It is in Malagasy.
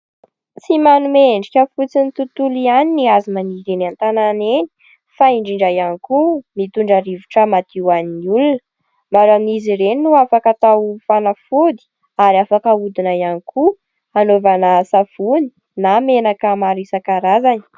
Tsy manome endrika fotsiny ny tontolo ihany ny hazo maniry eny an-tanàna eny fa indrindra ihany koa mitondra rivotra madio an'ny olona ; maro amin'izy ireny no afaka atao fanafody ary afaka ahodina ihany koa anaovana savony na menaka maro isankarazany.